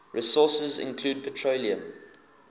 resources include petroleum